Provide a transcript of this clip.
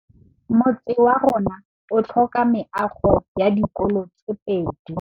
Motse warona o tlhoka meago ya dikolô tse pedi.